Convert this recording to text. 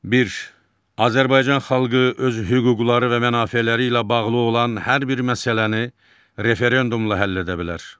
Bir, Azərbaycan xalqı öz hüquqları və mənafeləri ilə bağlı olan hər bir məsələni referendumla həll edə bilər.